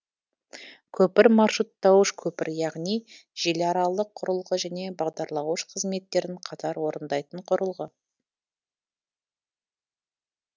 көпір маршруттауыш көпір яғни желіаралық құрылғы және бағдарлауыш қызметтерін қатар орындайтын құрылғы